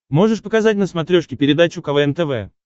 можешь показать на смотрешке передачу квн тв